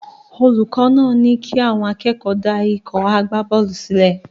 Olùkọ́ náà ní kí àwọn akẹ́kọ̀ọ́ dá ikọ̀ agbábọ́ọ̀lù sílẹ̀.